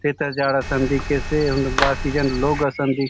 तेतर झाड़ असन दिखेसे हुन बाकी झन लोक असन‌‌ दिख --